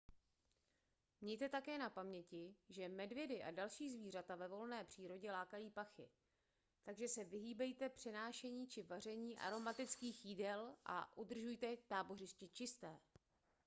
mějte také na paměti že medvědy a další zvířata ve volné přírodě lákají pachy takže se vyhýbejte přenášení či vaření aromatických jídel a udržujte tábořiště čisté